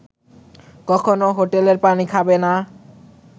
কখনো হোটেলের পানি খাবে না